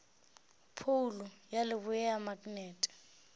phoulo ya leboa ya maknete